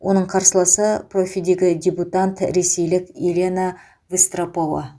оның қарсыласы профидегі дебютант ресейлік елена выстропова